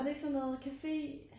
Var det ikke sådan noget café